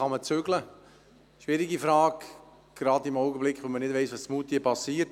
Diese Frage ist schwierig, vor allem gerade jetzt, da man nicht weiss, was in Moutier passiert.